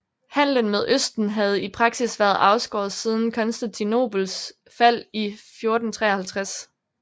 Handelen med Østen havde i praksis været afskåret siden Konstantinopels fald i 1453